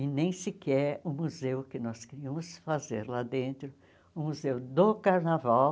E nem sequer o museu que nós queríamos fazer lá dentro, o Museu do Carnaval,